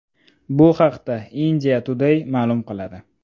Bu haqda India Today ma’lum qiladi .